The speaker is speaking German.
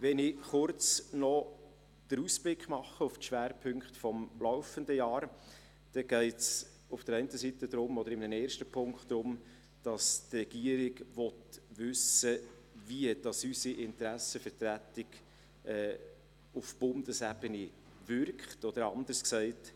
Wenn ich noch kurz den Ausblick mache auf die Schwerpunkte des laufenden Jahres, geht es in einem ersten Punkt darum, dass die Regierung wissen will, wie unsere Interessenvertretung auf Bundesebene wirkt, oder anders gesagt: